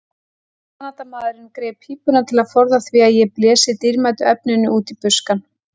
Kanadamaðurinn greip pípuna til að forða því að ég blési dýrmætu efninu út í buskann.